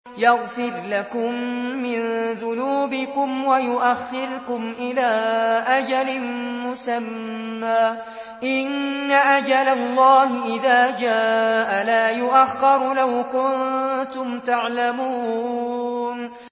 يَغْفِرْ لَكُم مِّن ذُنُوبِكُمْ وَيُؤَخِّرْكُمْ إِلَىٰ أَجَلٍ مُّسَمًّى ۚ إِنَّ أَجَلَ اللَّهِ إِذَا جَاءَ لَا يُؤَخَّرُ ۖ لَوْ كُنتُمْ تَعْلَمُونَ